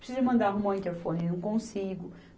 Preciso de mandar arrumar um interfone e não consigo.